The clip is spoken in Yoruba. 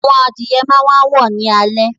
Àwọn adìye máa wàá wọ̀ ní alẹ́